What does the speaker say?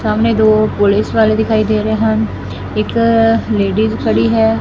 ਸਾਹਮਣੇ ਦੋ ਪੁਲਿਸ ਵਾਲੇ ਦਿਖਾਈ ਦੇ ਰਹੇ ਹਨ ਇੱਕ ਲੇਡੀਜ ਖੜੀ ਹੈ।